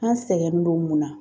An sɛgɛnnen don mun na?